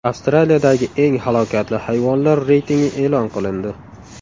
Avstraliyadagi eng halokatli hayvonlar reytingi e’lon qilindi.